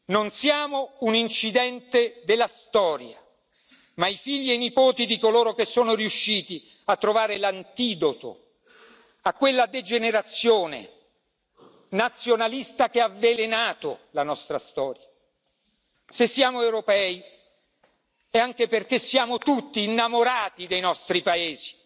Non siamo un incidente della storia, ma i figli e i nipoti di coloro che sono riusciti a trovare l'antidoto a quella degenerazione nazionalista che ha avvelenato la nostra storia se siamo europei è anche perché siamo tutti innamorati dei nostri paesi.